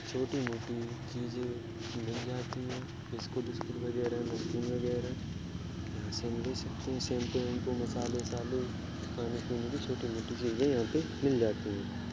छोटी- मोटी चीज़े मिल जाती हैं | बिस्कुट वागेरा नमकीन वागेरा शैंपू वैमपु मसाले-वसाले खाने पीने की छोटी मोटी चीज़े यहां पे मिल जाती हैं ।